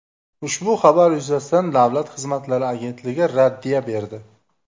Ushbu xabar yuzasidan Davlat xizmatlari agentligi raddiya berdi.